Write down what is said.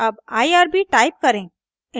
अब irb type करें